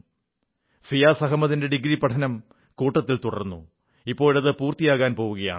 ഫിയാസ് അഹമ്മദിന്റെ ഡിഗ്രി പഠനം കൂട്ടത്തിൽ തുടർന്നു ഇപ്പോഴത് പൂർത്തിയാകാൻ പോകുകയാണ്